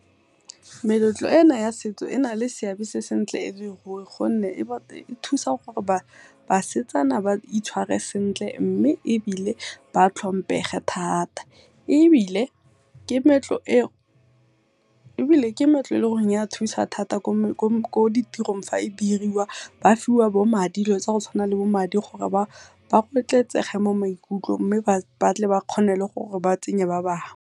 Meletlo ena ya setso e na le seabe se sentle e le ruri gonne e thusa gore basetsana ba itshware sentle mme ebile ba tlhomphege thata, ebile ke meetlo e e leng gore ya thusa thata ko ditirong fa e diriwa, ba fiwa bo madi dilo tsa go tshwana le bo madi gore ba mo maikutlong mme ba tle ba kgone le gore ba tsenye ba bangwe.